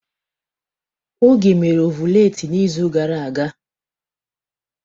Oge mere ọvụletị n'izu gara aga.